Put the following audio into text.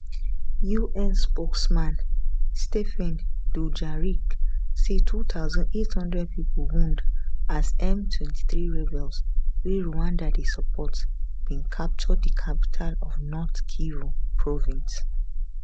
un spokesman stphane dujarric say 2800 pipo wound as m23 rebels wey rwanda dey support bin capture di capital of north kivu province